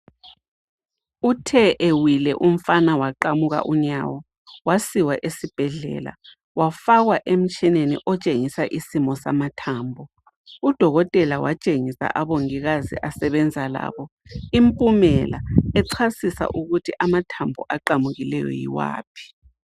Uthe ewile umfana waqamuka unyawo wasiwa esibhedlela wafakwa emtshineni otshengisa isimo samathambo udokotela watshengisa abongikazi asebenza labo impumela echasisa ukuthi amathambo aqamukileyo yiwaphi.